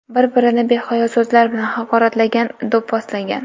Bir-birini behayo so‘zlar bilan haqoratlagan, do‘pposlagan.